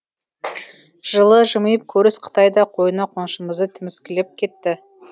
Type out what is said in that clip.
жылы жымиып көріс қытай да қойны қоншымызды тіміскілеп кетті